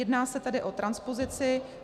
Jedná se tedy o transpozici.